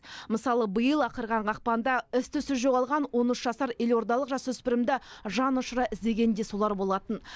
мысалы биыл ақырған ақпанда із түзсіз жоғалған он үш жасар елордалық жасөспірімді жан ұшыра іздеген де солар болатын